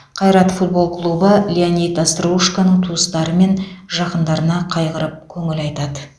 қайрат футбол клубы леонид остроушконың туыстары мен жақындарына қайғырып көңіл айтады